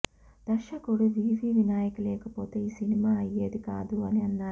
దర్శకుడు వివి వినాయక్ లేకపోతే ఈ సినిమా అయ్యేదికాదు అని అన్నారు